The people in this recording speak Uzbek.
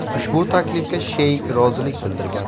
Ushbu taklifga Sheyk rozilik bildirgan.